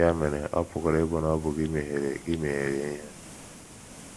Ya mere, ọ pụkwara ịbụ na ọ bụ gị mehiere gị mehiere ihe.